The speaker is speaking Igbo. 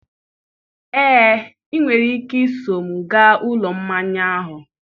Ee, ị nwere ike soro m gaa Ụlọ Mmanya ahụ.